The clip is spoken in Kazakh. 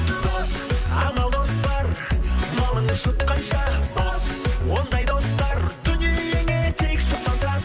дос амал дос бар малын жұтқанша бос ондай достар дүниеңе тек сұқпаса